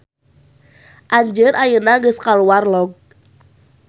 Anjeun ayeuna geus kaluar log.